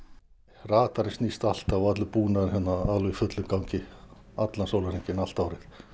radarinn snýst alltaf og allur búnaðurinn í fullum gangi allan sólarhringinn allt árið